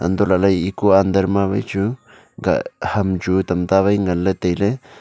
antoh lahley ekuk under ma waichu kah ham chu tamta wai ngan ley tailey.